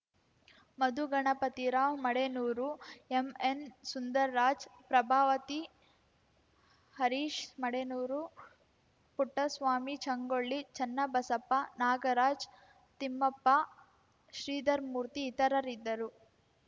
ಮಧು Ganapathirao Madenur M N Sundarraj Prabhavathi Harish Madenur Puttaswamy Changolli Channabasappa Nagaraj Thimmappa Sridhar Murthy ಇತರರಿದ್ದರು